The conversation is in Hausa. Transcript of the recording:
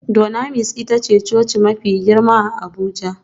Dunamis ita ce coci mafi girma a Abuja